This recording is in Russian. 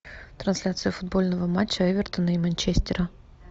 трансляция футбольного матча эвертона и манчестера